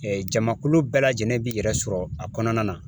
jamakulu bɛɛ lajɛlen b'i yɛrɛ sɔrɔ a kɔnɔna na